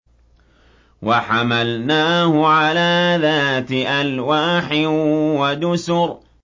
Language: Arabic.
وَحَمَلْنَاهُ عَلَىٰ ذَاتِ أَلْوَاحٍ وَدُسُرٍ